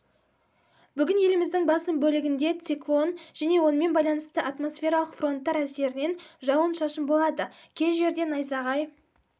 бүгін еліміздің басым бөлігінде циклон және онымен байланысты атмосфералық фронттар әсерінен жауын-шашын болады кей жерде найзағай